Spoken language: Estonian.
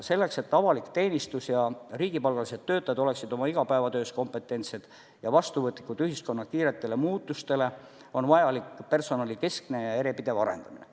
Selleks, et avalik teenistus ja riigipalgalised töötajad oleksid oma igapäevatöös kompetentsed ja vastuvõtlikud ühiskonna kiiretele muutustele, on vajalik personali kestev ja järjepidev arendamine.